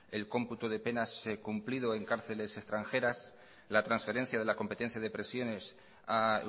el cómputo de penas cumplido en cárceles extranjeras la transferencia de la competencia de prisiones a